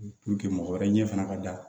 mɔgɔ wɛrɛ ɲɛ fana ka da